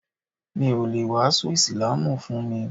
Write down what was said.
Mi o le wàásù ísílámù fún mi.